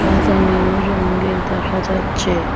সাদা নীল রঙের দেখা যাচ্ছে।